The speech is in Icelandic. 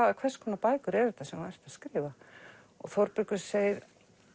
hvers konar bækur eru þetta sem þú ert að skrifa og Þórbergur segir